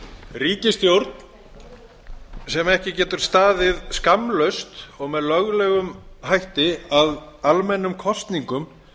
ríkisstjórn sem ekki getur staðið skammlaust og með löglegum hætti að almennum kosningum